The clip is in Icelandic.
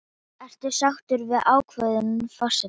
Þulur: Ert þú sáttur við ákvörðun forsetans?